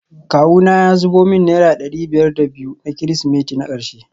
Kawuna ya zubo min naira dari biyar da biyu na kirsimeti na karshe